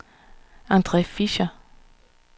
Andre Fischer